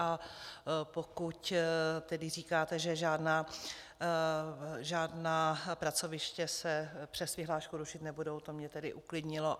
A pokud říkáte, že žádná pracoviště se přes vyhlášku rušit nebudou, to mě tedy uklidnilo.